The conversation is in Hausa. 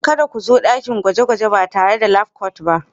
Kada ku zo dakin gwaje-gwaje ba tare da labcoat ba.